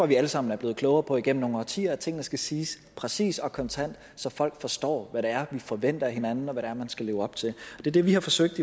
vi alle sammen er blevet klogere på igennem nogle årtier altså at tingene skal siges præcis og kontant så folk forstår hvad det er vi forventer af hinanden og hvad det er man skal leve op til det er det vi har forsøgt